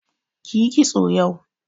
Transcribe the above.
Kiyi kitso yau.